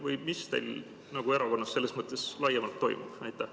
Või mis teil erakonnas selles mõttes laiemalt toimub?